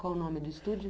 Qual o nome do estúdio?